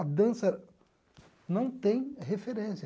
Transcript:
A dança não tem referência.